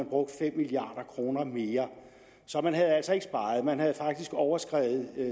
brugt fem milliard kroner mere så man havde altså ikke sparet man havde faktisk overskredet